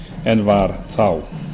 en var þá